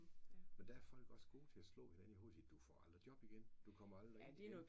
Men der er folk også gode til at slå hinanden i hovedet og sige du får aldrig job igen du kommer aldrig ind igen